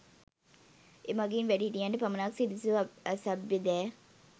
එමඟින් වැඩිහිටියන්ට පමණක් සුදුසු අසභ්‍ය දෑ